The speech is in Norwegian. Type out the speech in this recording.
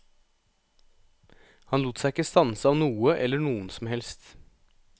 Han lot seg ikke stanse av noe eller noen som helst.